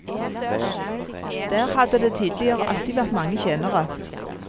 Der hadde det tidligere alltid vært mange tjenere.